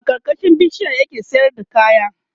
a karkashin bishiyar ya ke sayar da kaya